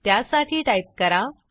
त्यासाठी टाईप करा